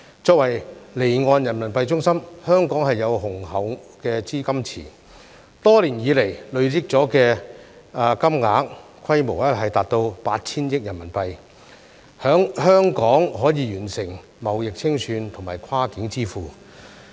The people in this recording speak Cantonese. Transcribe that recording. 作為離岸人民幣中心，香港有雄厚資金池，多年以來累積的金額規模達到 8,000 億元人民幣，在香港可以完成貿易清算和跨境支付。